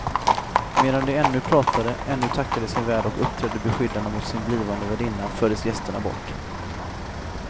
Medan de ännu pratade, ännu tackade sin värd och uppträdde beskyddande mot sin blivande värdinna fördes gästerna bort.